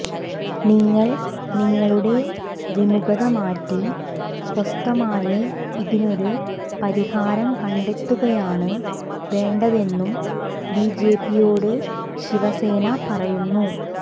നിങ്ങൾ നിങ്ങളുടെ വിമുഖത മാറ്റി സ്വസ്ഥമായി ഇതിനൊരു പരിഹാരം കണ്ടെത്തുകയാണ് വേണ്ടതെന്നും ബിജെപിയോട് ശിവസേന പറയുന്നു